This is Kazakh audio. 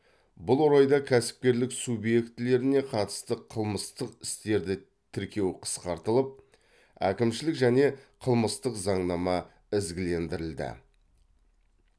бұл орайда кәсіпкерлік субъектілеріне қатысты қылмыстық істерді тіркеу қысқартылып әкімшілік және қылмыстық заңнама ізгілендірілді